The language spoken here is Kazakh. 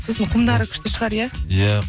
сосын құмдары күшті шығар иә иә